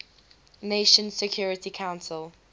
nations security council